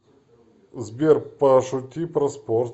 сбер пошути про спорт